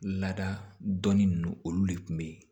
Lada dɔnni ninnu olu de kun be yen